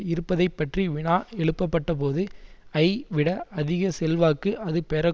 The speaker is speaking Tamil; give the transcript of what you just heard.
இருப்பதைப்பற்றி வினா எழுப்பப்பட்டபோது ஐ விட அதிக செல்வாக்கு அது பெற